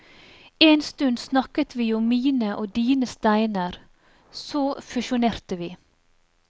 En stund snakket vi om mine og dine steiner, så fusjonerte vi.